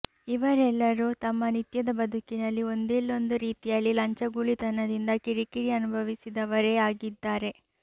ಇವರೆಲ್ಲರೂ ತಮ್ಮ ನಿತ್ಯದ ಬದುಕಿನಲ್ಲಿ ಒಂದಿಲ್ಲೊಂದು ರೀತಿಯಲ್ಲಿ ಲಂಚಗುಳಿತನದಿಂದ ಕಿರಿಕಿರಿ ಅನುಭವಿಸಿದವರೇ ಆಗಿದ್ದಾರೆ